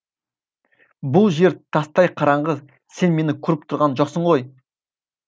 бұл жер тастай қараңғы сен мені көріп тұрған жоқсың ғой